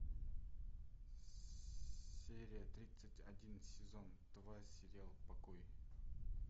серия тридцать один сезон два сериал покой